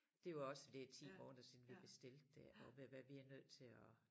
Det var også for det 10 måneder siden vi bestilte det og hvad vi er nødt til at